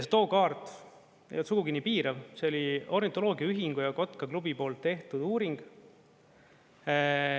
Too kaart ei olnud sugugi nii piirav, see oli ornitoloogiaühingu ja Kotkaklubi poolt tehtud uuring.